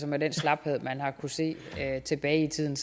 med den slaphed man har kunnet se tilbage i tiden